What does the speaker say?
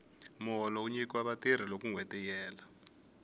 muholo wu nyikiwa vatirhi loko nwheti yi hela